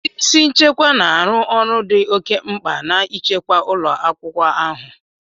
Ndị isi nchekwa na-arụ ọrụ dị oke mkpa n'ichekwa ụlọ akwụkwọ ahụ.